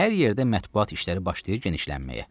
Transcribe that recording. Hər yerdə mətbuat işləri başlayır genişlənməyə.